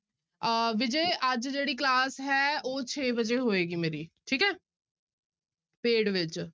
ਆਹ ਵਿਜੈ ਅੱਜ ਜਿਹੜੀ class ਹੈ ਉਹ ਛੇ ਵਜੇ ਹੋਏਗੀ ਮੇਰੀ ਠੀਕ ਹੈ paid ਵਿੱਚ।